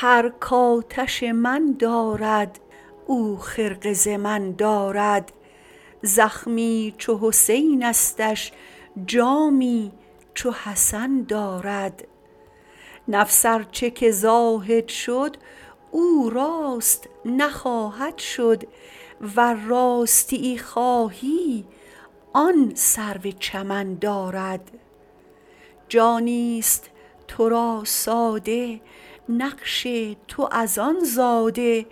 هر کآتش من دارد او خرقه ز من دارد زخمی چو حسینستش جامی چو حسن دارد نفس ار چه که زاهد شد او راست نخواهد شد ور راستیی خواهی آن سرو چمن دارد جانیست تو را ساده نقش تو از آن زاده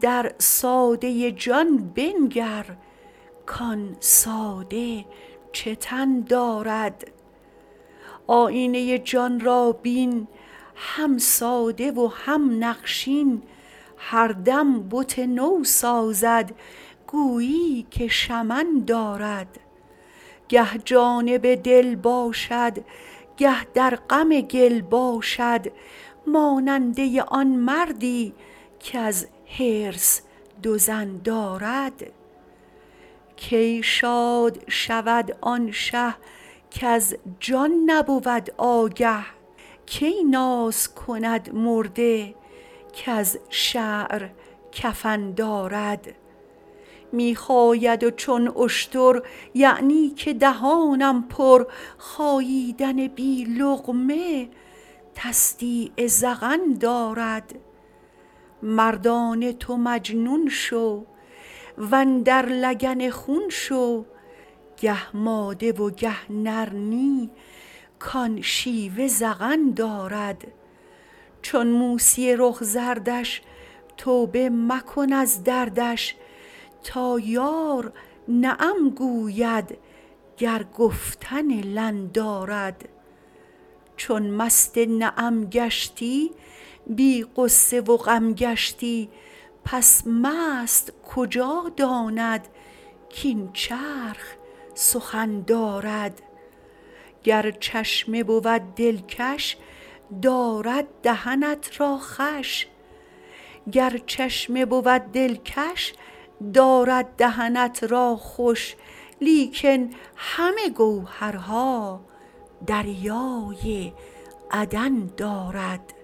در ساده جان بنگر کان ساده چه تن دارد آیینه جان را بین هم ساده و هم نقشین هر دم بت نو سازد گویی که شمن دارد گه جانب دل باشد گه در غم گل باشد ماننده آن مردی کز حرص دو زن دارد کی شاد شود آن شه کز جان نبود آگه کی ناز کند مرده کز شعر کفن دارد می خاید چون اشتر یعنی که دهانم پر خاییدن بی لقمه تصدیق ذقن دارد مردانه تو مجنون شو و اندر لگن خون شو گه ماده و گه نر نی کان شیوه زغن دارد چون موسی رخ زردش توبه مکن از دردش تا یار نعم گوید گر گفتن لن دارد چون مست نعم گشتی بی غصه و غم گشتی پس مست کجا داند کاین چرخ سخن دارد گر چشمه بود دلکش دارد دهنت را خوش لیکن همه گوهرها دریای عدن دارد